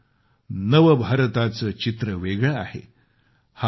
पण नवभारताचे चित्र वेगळे आहे